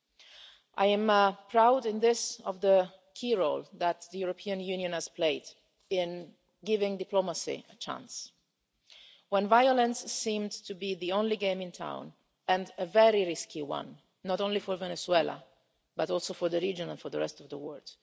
In this, I am proud of the key role that the European Union has played in giving diplomacy a chance, when violence seemed to be the only game in town and a very risky one not only for Venezuela, but also for the region and for the rest of the world.